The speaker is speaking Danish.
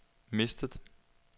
mistet